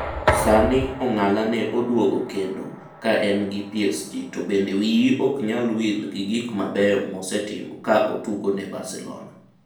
Sani ong'ala ne oduogo kendo ka en gi PSG to bende wiyi ok nyal wil gi gik mabeyo mosetimo ka otugo ne Barcelona.